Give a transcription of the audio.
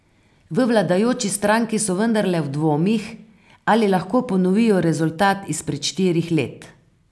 V vladajoči stranki so vendarle v dvomih, ali lahko ponovijo rezultat izpred štirih let.